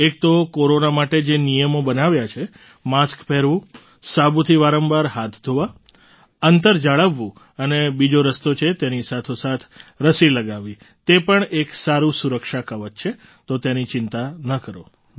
એક તો કોરોના માટે જે નિયમો બનાવ્યા માસ્ક પહેરવું સાબુથી વારંવાર હાથ ધોવા અંતર જાળવવું અને બીજો રસ્તો છે તેની સાથોસાથ રસી લગાવવી તે પણ એક સારું સુરક્ષા કવચ છે તો તેની ચિંતા કરો